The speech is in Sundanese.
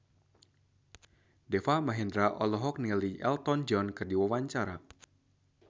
Deva Mahendra olohok ningali Elton John keur diwawancara